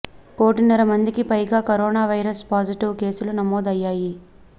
కోటిన్నర మందికి పైగా కరోనా వైరస్ పాజిటివ్ కేసులు నమోదు అయ్యాయి